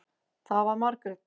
Það var Margrét.